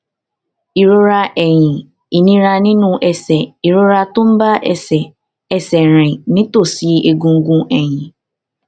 ìrora ẹyìn ìnira nínú ẹsè ìrora tó ń bá ẹsè ẹsè rìn nítòsí egungun ẹyìn